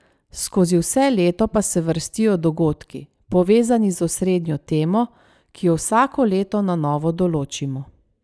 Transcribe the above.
Skozi vse leto pa se vrstijo dogodki, povezani z osrednjo temo, ki jo vsako leto na novo določimo.